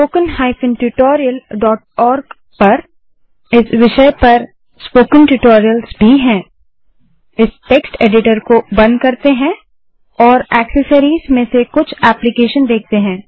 इस विषय पर wwwspoken tutorialorg पर स्पोकन ट्यूटोरियल्स भी होंगे